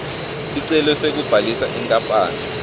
sicelo sekubhalisa inkapani